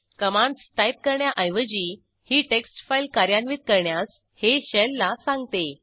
commands type करण्याऐवजी ही text file कार्यान्वित करण्यास हे शेल ला सांगते